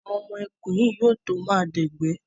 Àwọn ọmọ ẹkùn yìí yóò to máa dẹ̀gbẹ́.